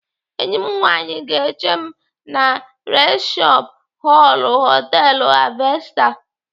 Enyi m nwaanyị ga-eche m na risepshọn họlụ họtelu Harvester.